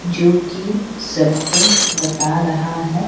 जो कि सबको बता रहा --